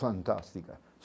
Fantástica.